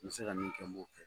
N mi se ka min kɛ n b'o kɛ.